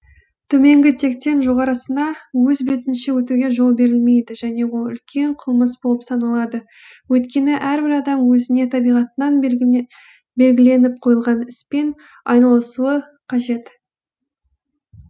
төменгі тектен жоғарғысына өз бетінше өтуге жол берілмейді және ол үлкен қылмыс болып саналады өйткені әрбір адам өзіне табиғатынан белгіленіп қойылған іспен айналысуы қажет